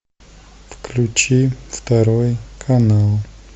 включи второй канал